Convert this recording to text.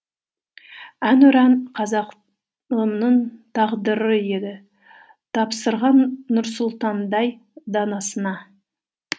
әнұран қазағымның тағдыры еді тапсырған нұрсұлтандай данасына